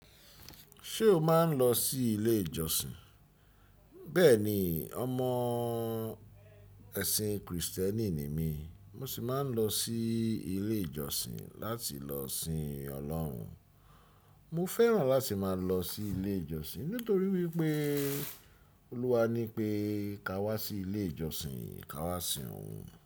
Ṣé o máa ń lọ sí ilé ìjọsìn? Bẹ́ẹ̀ni, ọmọ ẹ̀sìn Krìstẹ́nì ni mí, mo sì máa ń lọ sí ilé ìjọsìn láti lọ sìn Ọlọ́run. Mo fẹ́ràn láti máa lọ sí ilé ìjọsìn nítorí wípé Olúwa ní pé ká wá sí ilé ìjọsìn, ká wá sìn òun.